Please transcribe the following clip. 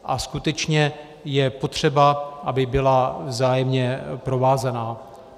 A skutečně je potřeba, aby byla vzájemně provázaná.